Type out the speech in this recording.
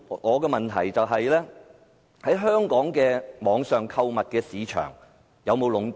我的補充質詢是，香港的網上購物市場有否被壟斷？